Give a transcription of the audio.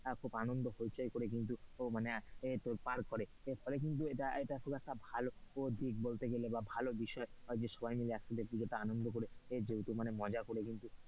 এ খুব আনন্দ হৈচৈ করে কিন্তু আ উহ মানে তোর পার করে কিন্তু এইটা খুব ভালো দিক বলতে গেলে ভালো বিষয় যে সবাই মিলে একসাথে পুজোটা আনন্দযে যেহেতু করে মজা করে কিন্তু,